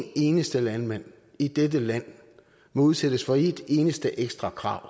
eneste landmand i dette land udsættes for ét eneste ekstra krav